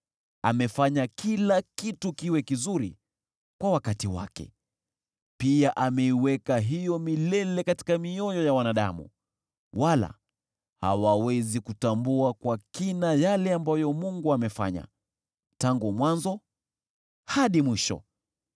Amefanya kila kitu kiwe kizuri kwa wakati wake. Pia ameiweka hiyo milele katika mioyo ya wanadamu, wala hawawezi kutambua kwa kina yale ambayo Mungu amefanya tangu mwanzo hadi mwisho.